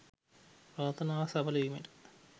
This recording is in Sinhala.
ප්‍රාර්ථනාවක් සඵල වීමට